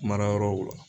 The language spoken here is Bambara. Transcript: Marayɔrɔw la